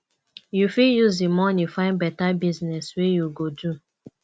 you fit use di moni find beta business wey you go do